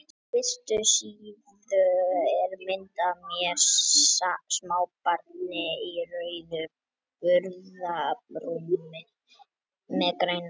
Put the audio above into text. Á fyrstu síðu er mynd af mér, smábarni í rauðu burðarrúmi með grænum höldum.